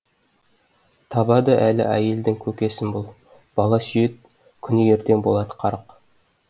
табады әлі әйелдің көкесін бұл бала сүйед күні ертең болад қарық